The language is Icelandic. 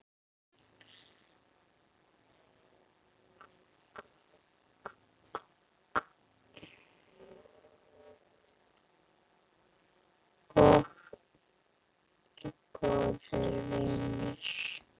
Og góður vinur.